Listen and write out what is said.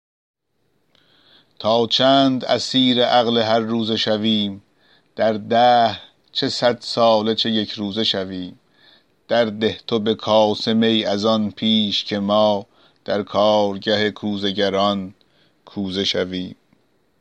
تا چند اسیر عقل هر روزه شویم در دهر چه صد ساله چه یکروزه شویم درده تو به کاسه می از آن پیش که ما در کارگه کوزه گران کوزه شویم